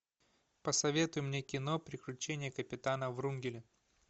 посоветуй мне кино приключения капитана врунгеля